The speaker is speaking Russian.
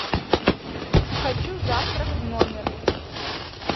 хочу завтрак в номер